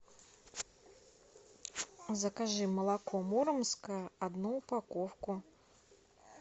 закажи молоко муромское одну упаковку